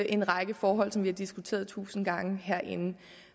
en række forhold som vi har diskuteret tusind gange herinde